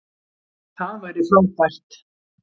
Það væri frábært.